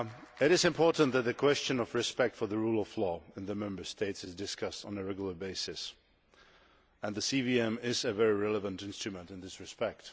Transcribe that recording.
It is important that the question of respect for the rule of law in the Member States is discussed on a regular basis, and the CVM is a very relevant instrument in this respect.